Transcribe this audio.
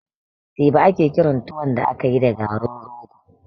Teba ake kiran tuwon da akayi da garin rogo